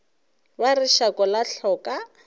ba re šako la hloka